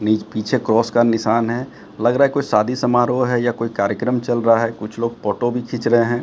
पीछे क्रॉस का निशान है लग रहा है कोई शादी समारोह है या कोई कार्यक्रम चल रहा है कुछ लोग फोटो भी खींच रहे हैं।